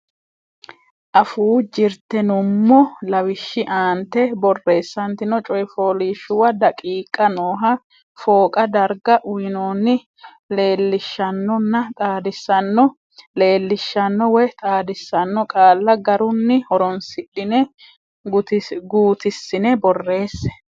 Afuu Jirte nummo lawishshi aante borreessantino coy fooliishshuwa daqiiqa nooha fooqa darga uynoonni Leellishaanonna Xaadisaano leellishaano woy xaadisaano qaalla garunni horonsidhine guutissine borreesse.